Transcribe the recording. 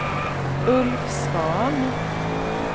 Ulf Svahn